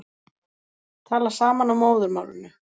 Tala saman á móðurmálinu